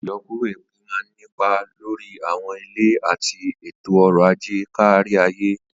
Ìyọkuro epo máa ń nípa lórí àwọn ilẹ̀ àti ètò ọrọ̀ ajé kárí ayé.